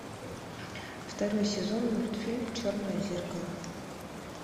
второй сезон мультфильм черное зеркало